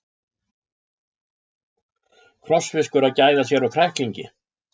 Krossfiskur að gæða sér á kræklingi.